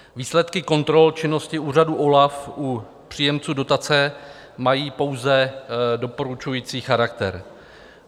Výsledky kontrol činnosti úřadu OLAF u příjemců dotace mají pouze doporučující charakter.